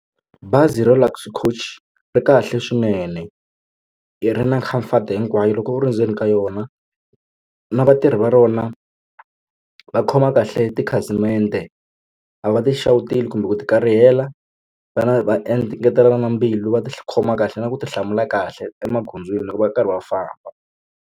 Bazi ra Luxury coach ri kahle swinene i ri na comfort hinkwayo loko u ri ndzeni ka yona na vatirhi va rona va khoma kahle tikhasimende a va ti xawuteli kumbe ku ti karihela vana va engetelana na mbilu va ti khoma kahle na ku ti hlamula kahle emagondzweni loko va karhi va famba.